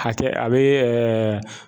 Hakɛ a be